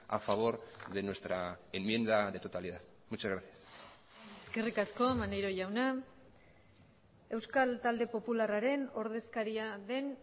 a favor de nuestra enmienda de totalidad muchas gracias eskerrik asko maneiro jauna euskal talde popularraren ordezkaria den